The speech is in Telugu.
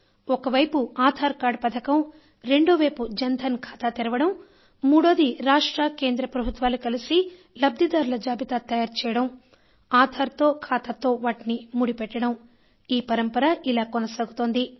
ఒకవైపు ఆధార్ కార్డు పథకం రెండోవైపు జన్ ధన్ ఖాతా తెరవడం మూడోది రాష్ట్ర కేంద్ర ప్రభుత్వాలు కలసి లబ్ధిదారుల జాబితా తయారుచేయడం ఆధార్ తో ఖాతాతో వాటిని ముడిపెట్టడం ఈ పరంపర ఇలా కొనసాగుతోంది